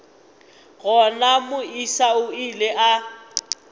gona moisa o ile a